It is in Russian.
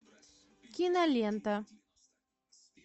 кинолента